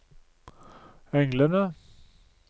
englene